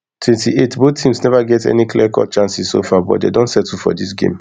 twenty-eight both teams neva get any clear cut cut chances so far but dey don settle for dis game